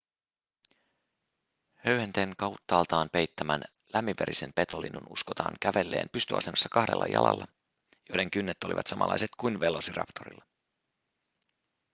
höyhenten kauttaaltaan peittämän lämminverisen petolinnun uskotaan kävelleen pystyasennossa kahdella jalalla joiden kynnet olivat samanlaiset kuin velociraptorilla